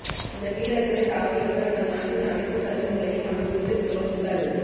அந்த வீரர்களை தாக்கியவர்கள் நம் நாட்டின் அணைத்து சலுகைகளையும் அனுபவித்த துரோகிகள்